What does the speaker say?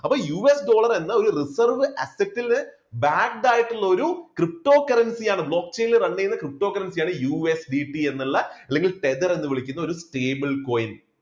അപ്പോൾ US Dollar എന്ന ഒരു reserve asset ല് backed ആയിട്ടുള്ള ഒരു ptocurrency യാണ് block chain ൽ run ചെയ്യുന്ന ഒരു ptocurrency യാണ് USDT എന്നുള്ള അല്ലെങ്കിൽ tether എന്ന് വിളിക്കുന്ന ഒരു stable coin